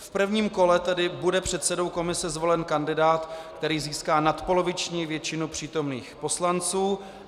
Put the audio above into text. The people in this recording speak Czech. V prvním kole tedy bude předsedou komise zvolen kandidát, který získá nadpoloviční většinu přítomných poslanců.